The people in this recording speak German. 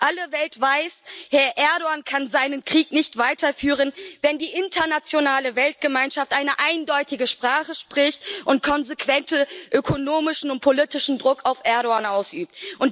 Alle Welt weiß Herr Erdoğan kann seinen Krieg nicht weiterführen, wenn die internationale Weltgemeinschaft eine eindeutige Sprache spricht und konsequenten ökonomischen und politischen Druck auf Erdoğan ausübt.